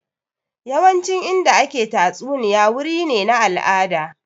Yawancin Inda ake tatsuniya wuri ne na al'ada